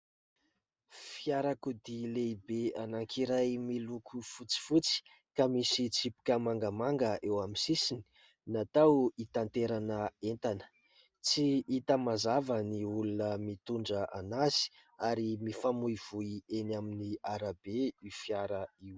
Fiarakodia lehibe anankiray miloko fotsifotsy ka misy tsipika mangamanga eo amin'ny sisiny, natao itaterana entana, tsy hita mazava ny olona mitondra an'azy ary mifamoivoy eny amin'ny arabe io fiara io.